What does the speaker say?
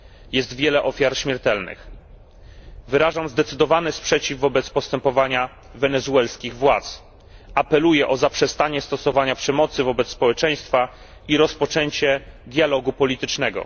Jest wiele ofiar śmiertelnych. Wyrażam zdecydowany sprzeciw wobec postępowania wenezuelskich władz. Apeluję o zaprzestanie stosowania przemocy wobec społeczeństwa oraz o rozpoczęcie dialogu politycznego.